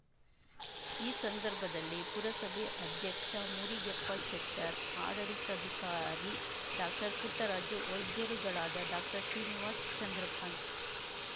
ಈ ಸಂದರ್ಭದಲ್ಲಿ ಪುರಸಭೆ ಅಧ್ಯಕ್ಷ ಮುರಿಗೆಪ್ಪ ಶೆಟ್ಟರ್ ಆಡಳಿತಾಧಿಕಾರಿ ಡಾಕ್ಟರ್ಪುಟ್ಟರಾಜು ವೈದ್ಯರುಗಳಾದ ಡಾಕ್ಟರ್ಶ್ರೀನಿವಾಸ ಚಂದ್ರಕಾಂತ್